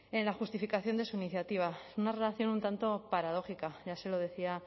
en la justificación de su iniciativa una redacción un tanto paradójica ya se lo decía